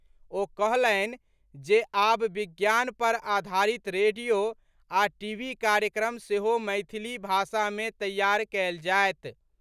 ओ कहलनि जे आब विज्ञान पर आधारित रेडियो आ टीवी कार्यक्रम सेहो मैथिली भाषा मे तैयार कयल जायत।